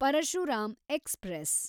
Parashuram express